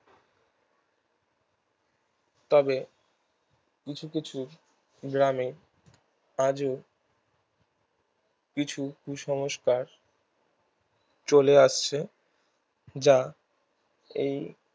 তবে গ্রামে আজও কিছু কুসংষ্কার চলে আসছে যা এই